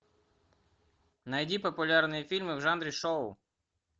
найди популярные фильмы в жанре шоу